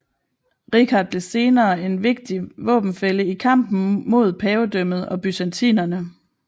Richard blev senere en vigtig våbenfælle i kampen mod pavedømmet og byzantinerne